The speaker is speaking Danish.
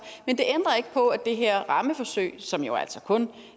men det ændrer ikke på at det her rammeforsøg som jo altså kun